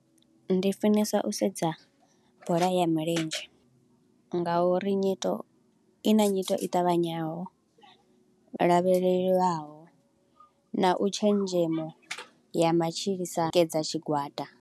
Ndi funesa u sedza bola ya milenzhe, nga uri nyito, i na nyito i ṱavhanyaho, lavheleliwaho, na u tshenzhemo ya matshilisano tikedza tshigwada.